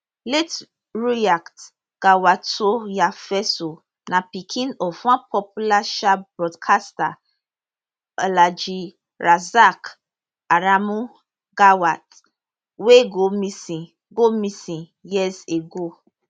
late rukyat gawatoyefeso na pikin of one popular um broadcaster alhaji rasaq aremu gawat wey go missing go missing years ago